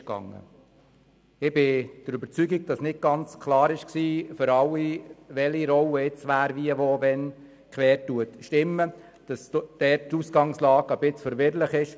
Ich bin überzeugt, dass nicht für alle klar war, wie abgestimmt werden soll, da die Ausgangslage etwas verwirrend ist.